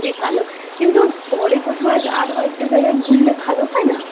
কিন্তু পরে কোথাও আরো একটা জায়গায় ঘুরলে ভালো হয় না?